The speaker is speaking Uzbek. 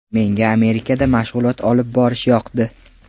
Menga Amerikada mashg‘ulot olib borish yoqdi.